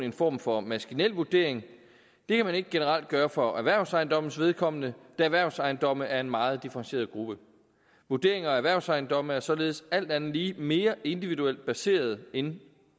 en form for maskinel vurdering det kan man ikke generelt gøre for erhvervsejendommes vedkommende da erhvervsejendomme er en meget differentieret gruppe vurderinger af erhvervsejendomme er således alt andet lige mere individuelt baseret end